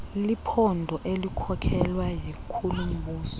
liphondo elikhokelwa yinkulumbuso